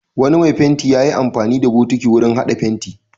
Wani mai fenti ya yi amfani da bokiti wurin haɗa fenti.